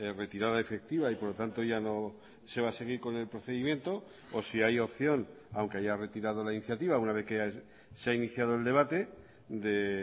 retirada efectiva y por lo tanto ya no se va a seguir con el procedimiento o si hay opción aunque haya retirado la iniciativa una vez que se ha iniciado el debate de